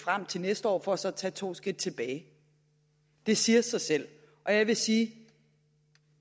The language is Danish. frem til næste år for så at tage to skridt tilbage det siger sig selv og jeg vil sige at